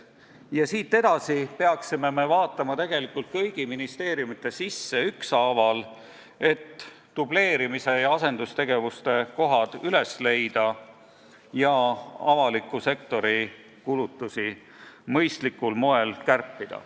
Ja siit edasi peaksime vaatama kõigi ministeeriumite sisse ükshaaval, et dubleerimise ja asendustegevuste kohad üles leida ja avaliku sektori kulutusi mõistlikul moel kärpida.